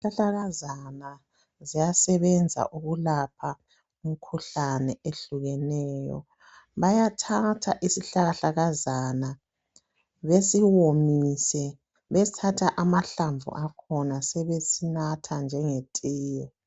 Izihlahlakazana ziyasebenza ukulapha umkhuhlane ehlukeneyo. Bayathatha isihlahlakazana besiwomise besithatha amahlamvu akhona sebesinatha njengetiye.